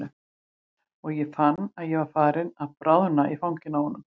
Og ég fann að ég var farin að bráðna í fanginu á honum.